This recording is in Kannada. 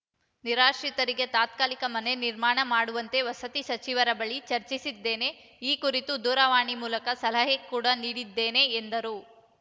ನಿರಾಶ್ರಿತರಿಗೆ ತಾತ್ಕಾಲಿಕ ಮನೆ ನಿರ್ಮಾಣ ಮಾಡುವಂತೆ ವಸತಿ ಸಚಿವರ ಬಳಿ ಚರ್ಚಿಸಿದ್ದೇನೆ ಈ ಕುರಿತು ದೂರವಾಣಿ ಮೂಲಕ ಸಲಹೆ ಕೂಡ ನೀಡಿದ್ದೇನೆ ಎಂದರು